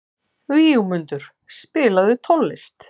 Vígmundur, spilaðu tónlist.